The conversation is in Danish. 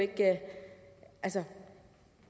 at så